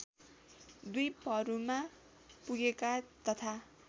द्वीपहरूमा पुगेका तथा